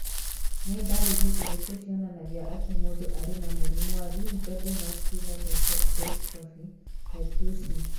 Nĩ ndariri irĩkũ cionanagia atĩ mũndũ arĩ na mũrimũ wa Limb girdle muscular dystrophy, type 2C?